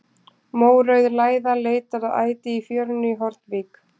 Mórauð læða leitar að æti í fjörunni í Hornvík.